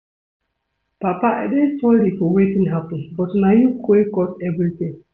Papa I dey sorry for wetin happen but na you wey cause everything